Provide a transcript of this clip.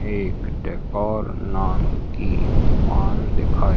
एक डेकोर नान की दुकान दिखाई--